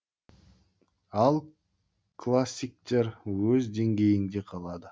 ал классиктер өз деңгейінде қалады